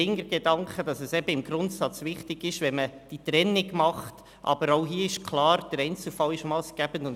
Dahinter steht der Gedanke, dass es im Grundsatz wichtig ist, diese Trennung vorzunehmen, aber dass auch hier klar der Einzelfall massgebend ist.